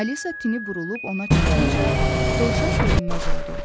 Alisa tini burulub ona çatınca dovşan görünməz oldu.